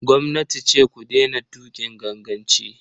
Gwamnati ce ku daina tuƙin ganganci.